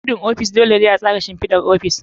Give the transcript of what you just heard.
Gudun aiki. Dole ne a tsara shimfidar ofis.